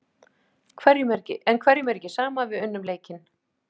En hverjum er ekki sama, við unnum leikinn.